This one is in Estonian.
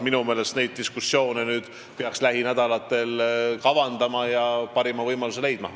Minu meelest peaks neid diskussioone lähinädalatel kavandama ja parima võimaluse leidma.